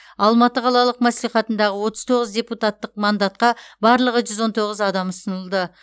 алматы қалалық мәслихатында отыз тоғыз депутаттық мандатқа барлығы жүз он тоғыз адам ұсынылды